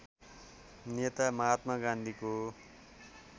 नेता महात्मा गान्धीको